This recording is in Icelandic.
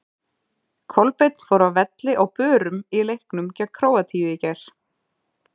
Kolbeinn fór af velli á börum í leiknum gegn Króatíu í gær.